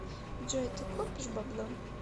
джой ты копишь бабло